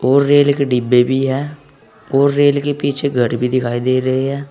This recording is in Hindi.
और रेल के डिब्बे भी हैं और रेल के पीछे घर भी दिखाई दे रहे हैं।